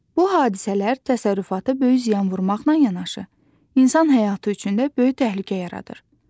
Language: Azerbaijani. Bu hadisələr təsərrüfata böyük ziyan vurmaqla yanaşı, insan həyatı üçün də böyük təhlükə yaradır.